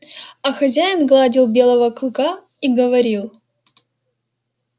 а хозяин гладил белого клыка и говорил